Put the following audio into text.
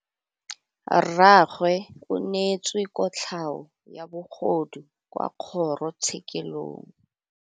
Rragwe o neetswe kotlhaô ya bogodu kwa kgoro tshêkêlông.